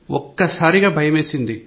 ఒక్కసారిగా భయంవేసింది